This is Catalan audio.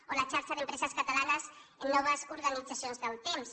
o la xarxa d’empreses catalanes amb noves organitzacions del temps